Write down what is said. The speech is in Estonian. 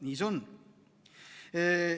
Nii see on.